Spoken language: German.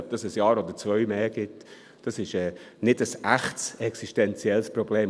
Ob es ein Jahr oder zwei länger geht, ist kein echtes existenzielles Problem.